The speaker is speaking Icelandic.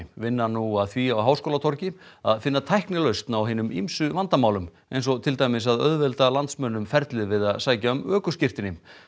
vinna nú að því á Háskólatorgi að finna tæknilausn á hinum ýmsu vandamálum eins og til dæmis að auðvelda landsmönnum ferlið við að sækja um ökuskírteini